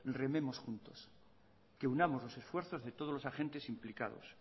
rememos juntos que unamos los esfuerzos de todos los agentes implicados